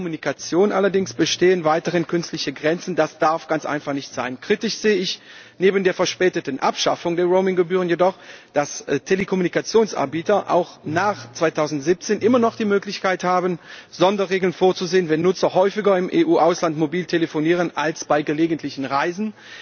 Bei der Telekommunikation allerdings bestehen weiterhin künstliche Grenzen, das darf ganz einfach nicht sein. Kritisch sehe ich neben der verspäteten Abschaffung der Roaming Gebühren jedoch, dass Telekommunikationsanbieter auch nach 2017 immer noch die Möglichkeit haben, Sonderregeln vorzusehen, wenn Nutzer häufiger im EU Ausland mobil telefonieren als bei gelegentlichen Reisen.